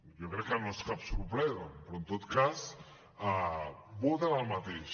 jo crec que no és cap sorpresa però en tot cas voten el mateix